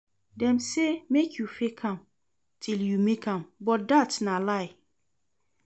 Dem say make you fake am till you make am but dat na lie